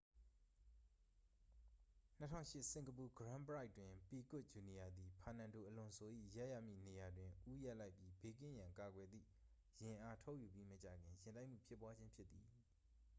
2008 စင်ကာပူ ဂရန်းပရိုက်တွင် ပီကွတ် ဂျူနီယာသည် ဖာနန်ဒိုအလွန်ဆို၏ ရပ်ရမည့်နေရာတွင် ဦးရပ်လိုက်ပြီး ဘေးကင်းရန်ကာကွယ်သည့် ယာဉ်အား ထုတ်ယူပြီးမကြာခင် ယာဉ်တိုက်မှုဖြစ်ပွားခြင်း ဖြစ်သည်